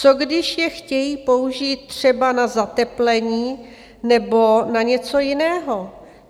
Co když je chtějí použít třeba na zateplení nebo na něco jiného?